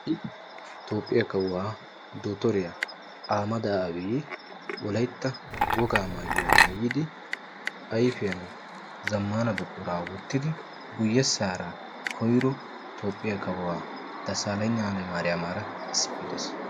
Ha'i toophphiyaakawuwaa dottoriyaa ahemeda aabi woalytta wogaa maayuwaa maayida ayfiyaan zammaana buquraa wottidi guyessaara koyro toophphiyaa kawuwaa dasaleygna hayle mariyaamaara issippe dees.